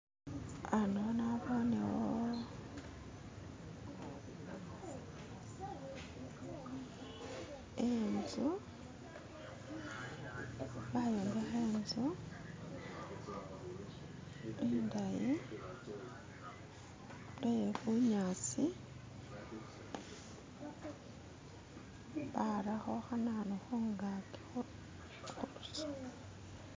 Hano nabonewo inzu bayombekha inzu indayi iyebunyasi barakho khananu khungaki